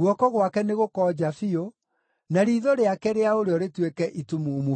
Guoko gwake nĩgũkonja biũ, na riitho rĩake rĩa ũrĩo rĩtuĩke itumumu biũ.”